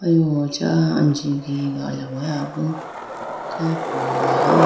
aliwu acha anji giyiga alawaya bo kha po.